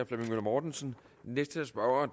flemming møller mortensen den næste spørger